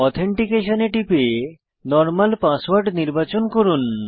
authentication এ টিপে normal password নির্বাচন করুন